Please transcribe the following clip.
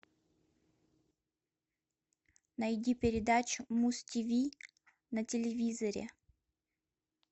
найди передачу муз тиви на телевизоре